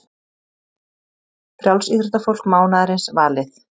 Frjálsíþróttafólk mánaðarins valið